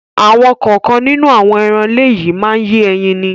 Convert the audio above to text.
Àwọn kọ̀ọ̀kan nínú àwọn ẹran ilé yìí má ń yé ẹyin ni.